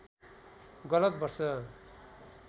गलत वर्ष